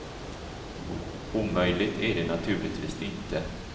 Omöjligt är det naturligtvis inte.